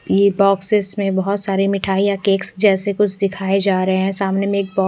ये बोक्सेक्स में बोहोत सारे मिठाईया केक्स जैसे कुछ दिखाई जा रहे है सामने में एक बॉ --